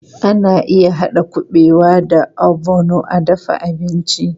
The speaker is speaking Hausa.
Ana iya haɗa kuɓewa da ogbono a dafa abinci.